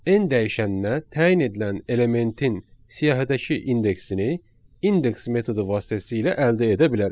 N dəyişəninə təyin edilən elementin siyahidəki indeksini indeks metodu vasitəsilə əldə edə bilərik.